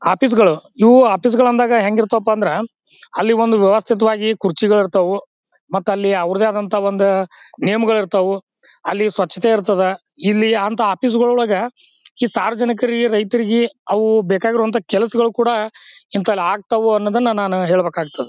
Office ಗಳು ಇವು office ಗಳು ಅಂದಾಗ ಹೆಂಗಿರುತ್ತವಪ್ಪಾ ಅಂದ್ರ ಅಲ್ಲಿ ಒಂದು ವ್ಯವಸ್ಥಿತವಾಗಿ ಕುರ್ಚಿಗಳು ಇರ್ತವು ಮತ್ತಲ್ಲಿ ಅವರದೇ ಆದ ಒಂದು ನಿಯಮಗಳು ಇರ್ತಾವು ಅಲ್ಲಿ ಸ್ವಚ್ಛತೆ ಇರ್ತದ. ಇಲ್ಲಿ ಅಂತ ಆಫೀಸ್ ಗಳೊಳಗೆ ಈ ಸಾರ್ವಜನಿಕರಿಗೆ ರೈತರಿಗೆ ಅವು ಬೇಕಾಗಿರೋ ಅಂತ ಕೆಲಸಗಳು ಕೂಡ ಇಂತಲ್ಲಿ ಆಗ್ತಾವು ಅಂತ ನಾನು ಹೇಳ್ಬೇಕಾಗ್ತದ.